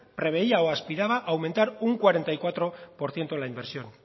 preveía o aspiraba a aumentar un cuarenta y cuatro por ciento la inversión